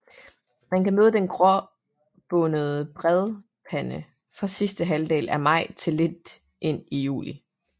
Man kan møde den gråbåndede bredpande fra sidste halvdel af maj til lidt ind i juli